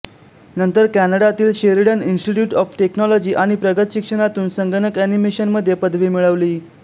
नंतर कॅनडातील Sheridan institute of technology आणि प्रगत शिक्षणातून संगणक एनिमेशनमध्ये पदवी मिळवली